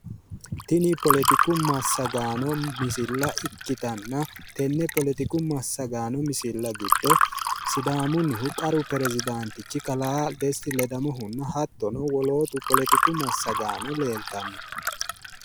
Tin poletiku massagaano misile ikkitanna tenne poletiku masagaano misilla giddo sidaammunnihu qaru pirezidaantichi kalaa Desti ledamohunna polotiku massagaano leeltanno.